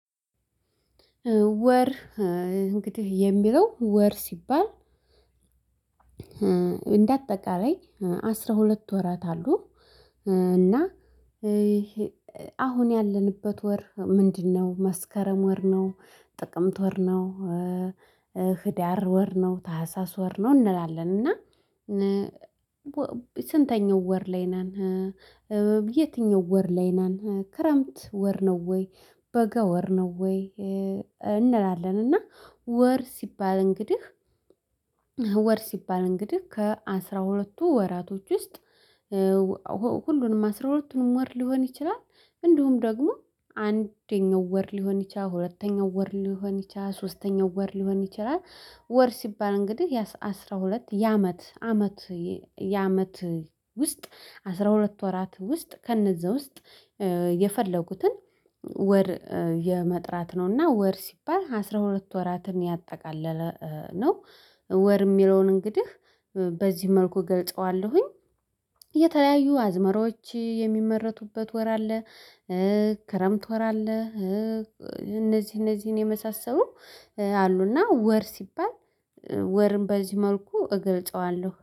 ወር እንግዲህ የሚለው ወር ሲባል እንደ አጠቃላይ አስራ ሁለት ወራት አሉ። እና አሁን ያለንበት ወር ምንድነው? መስከረም ወር ነው ጥቅምት ወር ነው። ህዳር ወር ነው ታህሳስ ወር ነው እንላለን። እና ስንተኛው ወር ላይ ነን? የትኛው ወር ላይ ነን ክረምት ወር ነው ወይ በገ ወር ነው ወይ? እንላለን እና ወር ሲባል እንግዲህ ወር ሲባል እንግዲህ ከአስራ ሁለቱ ወራቶች ውስጥ። ሁሉንም አስራ ሁለቱን ወር ሊሆን ይችላል። እንዲሁም ደግሞ አንደኛው ወር ሊሆን ይችላል ሁለተኛው ወር ሊሆን ይችላል ሶስተኛው ወር ሊሆን ይችላል። ወር ሲባል እንግዲህ የአስራሁለት የአመት አመት የአመት ውስጥ አስራሁለት ወራት ውስጥ ከእነዛ ውስጥ። የፈለጉትን ወር የመጥራት ነውና ወር ሲባል አስራ ሁለት ወራትን ያጠቃለለ ነው። ወር የሚለውን እንግዲህ በዚህ መልኩ ገልጸዋለሁኝ። እየተለያዩ አዝመራዎች የሚመረቱበት ወር አለ። ክረምት ወር አለ እነዚህ እነዚህን የመሳሰሉ አሉና ወር ሲባል። ወርም በዚህ መልኩ እገልጸዋለሁ